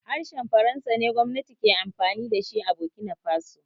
Harshen faransa ne gwamnati ke amfani da bokinafaso